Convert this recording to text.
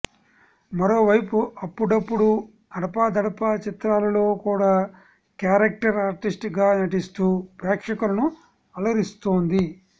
మరోవైపు అప్పుడప్పుడు అడపాదడపా చిత్రాలలో కూడా క్యారెక్టర్ ఆర్టిస్ట్ గా నటిస్తూ ప్రేక్షకులను అలరిస్తోంది